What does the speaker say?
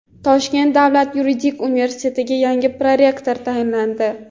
Toshkent davlat yuridik universitetiga yangi prorektor tayinlandi.